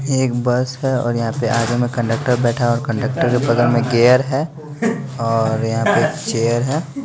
ये एक बस्प है और यहाँ पे आगे में कंडक्टर बैठा और कंडक्टर के बगल में गेयर है और यहाँ पे चेयर है।